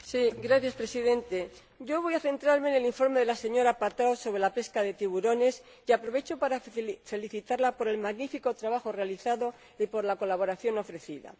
Señor Presidente, yo voy a centrarme en el informe de la señora Patrão sobre la pesca de tiburones, y aprovecho para felicitarla por el magnífico trabajo realizado y por la colaboración ofrecida.